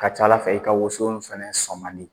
Ka ca Ala fɛ i ka woso in fana sɔn man di